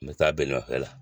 N be taa belima fɛn la.